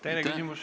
Teine küsimus.